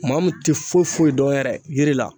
Maa min te foyi foyi dɔn yɛrɛ yiri la